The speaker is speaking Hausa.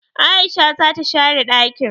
aishe zata share dakin!